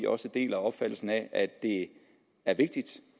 også deler opfattelsen af at det er vigtigt